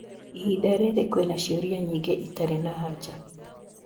Ihinda rĩrĩ kwĩna ciũria nyingĩ itarĩ na anja.